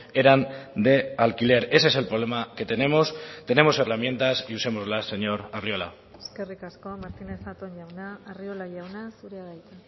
eran de alquiler ese es el problema que tenemos tenemos herramientas y usémoslas señor arriola eskerrik asko martínez zatón jauna arriola jauna zurea da hitza